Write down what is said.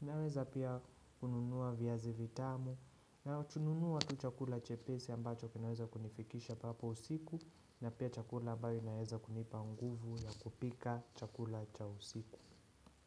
Naweza pia kununua viazi vitamu na tununuwa tu chakula chepesi ambacho kinaweza kunifikisha papo usiku na pia chakula ambayo naweza kunipa nguvu ya kupika chakula cha usiku.